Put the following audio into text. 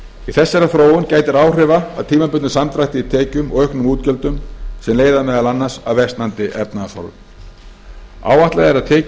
í þessari þróun gætir áhrifa af tímabundnum samdrætti í tekjum og auknum útgjöldum sem leiða meðal annars af versnandi efnahagshorfum áætlað er að tekjur